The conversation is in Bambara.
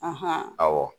awɔ